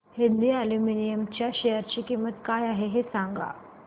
Hind aluminium च्या share ची किंमत काय आहे हे सांगा